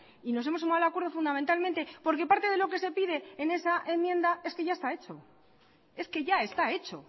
y nos hemos sumado al acuerdo fundamentalmente porque parte de lo que se pide en esa enmienda es que ya está hecho